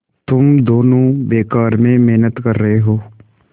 तुम दोनों बेकार में मेहनत कर रहे हो